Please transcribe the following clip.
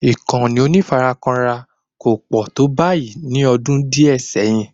Ìkànnì onífarakínra kò pọ̀ tó báyìí ní ọdún díẹ̀ sẹ́yìn